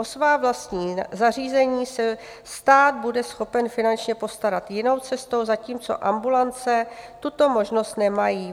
O svá vlastní zařízení se stát bude schopen finančně postarat jinou cestou, zatímco ambulance tuto možnost nemají.